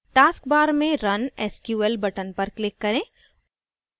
task bar में run sql button पर click करें